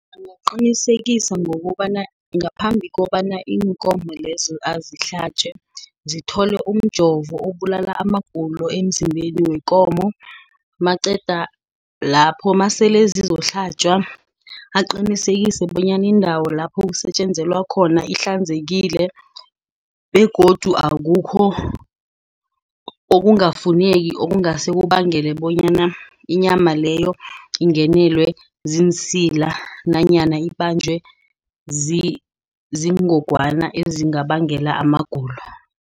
Angaqinisekisa ngokobana ngaphambi kobana iinkomo lezo azi hlatjwe zithole umjovo abulala amagulo emzimbeni wekomo. Maqeda lapho, masele zizokuhlatjwa aqinisekise bonyana iindawo lapho kusetjenzelwa khona ihlanzekile. Begodu akukho okungafuneki okungase kubangele bonyana inyama leyo ingenelelwe ziinsila nanyana ibanjwe zingogwana ezingabangela amagulo.